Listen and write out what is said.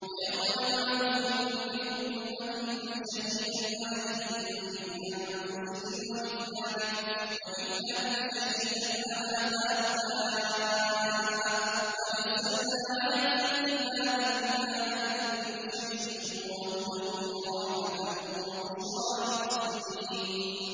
وَيَوْمَ نَبْعَثُ فِي كُلِّ أُمَّةٍ شَهِيدًا عَلَيْهِم مِّنْ أَنفُسِهِمْ ۖ وَجِئْنَا بِكَ شَهِيدًا عَلَىٰ هَٰؤُلَاءِ ۚ وَنَزَّلْنَا عَلَيْكَ الْكِتَابَ تِبْيَانًا لِّكُلِّ شَيْءٍ وَهُدًى وَرَحْمَةً وَبُشْرَىٰ لِلْمُسْلِمِينَ